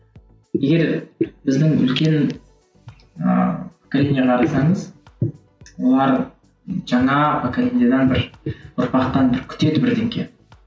егер біздің үлкен ііі поколениеге қарасаңыз олар жаңа поколениядан бір ұрпақтан бір күтеді